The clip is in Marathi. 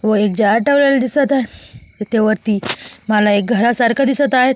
व एक जार ठेवलेला दिसत आहे इथे वरती घरासारखं दिसत आहे.